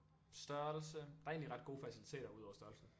Størrelse der er egentlig ret gode faciliteter ud over størrelsen